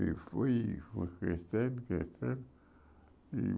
E foi foi crescendo, crescendo.